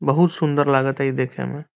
बहुत सुंदर लागता ई देखे में।